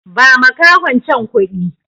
Ba makahon can kuɗi!